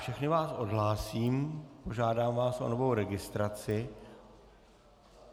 Všechny vás odhlásím, požádám vás o novou registraci.